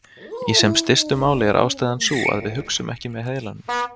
Í sem stystu máli er ástæðan sú að við hugsum ekki með heilanum.